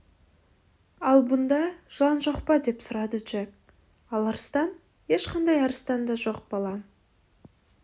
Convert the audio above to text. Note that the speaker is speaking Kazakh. ал мұнда жылан жоқ па деп сұрады джек ал арыстан ешқандай арыстан да жоқ балам